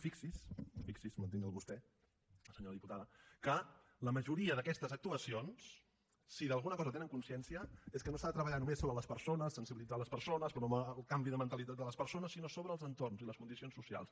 fixi’s fixi’s mantinc el vostè senyora diputada que la majoria d’aquestes actuacions si d’alguna cosa tenen consciencia és que no s’ha de treballar només sobre les persones sensibilitzar les persones promoure el canvi de mentalitat de les persones sinó sobre els entorns i les condicions socials